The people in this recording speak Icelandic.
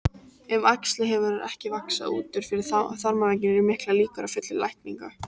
Ef æxlið hefur ekki vaxið út fyrir þarmavegginn eru miklar líkur á fullri lækningu.